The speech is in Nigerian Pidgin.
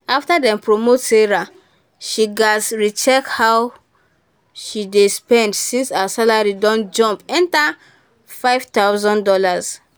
after dem promote sarah she gats re-check how she dey spend since her salary don jump enter five thousand dollars.